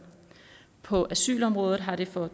på asylområdet har det for